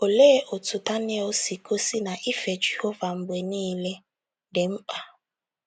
Olee otú Daniel si gosi na ife Jehova mgbe niile dị mkpa?